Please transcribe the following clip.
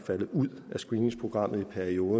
er jo